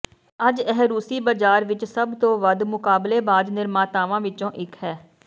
ਅੱਜ ਇਹ ਰੂਸੀ ਬਾਜ਼ਾਰ ਵਿਚ ਸਭ ਤੋਂ ਵੱਧ ਮੁਕਾਬਲੇਬਾਜ਼ ਨਿਰਮਾਤਾਵਾਂ ਵਿੱਚੋਂ ਇੱਕ ਹੈ